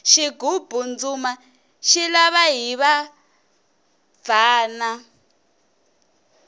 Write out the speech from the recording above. xigubu ndzumba xi lava hiva bvana